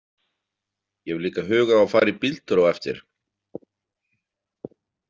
Ég hef líka hug á að fara í bíltúr á eftir.